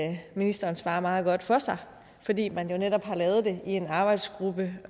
at ministeren svarer meget godt for sig fordi man jo netop har lavet det i en arbejdsgruppe